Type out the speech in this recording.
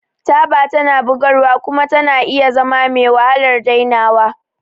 Taba tana bugarwa kuma tana iya zama mewahalar dainawa.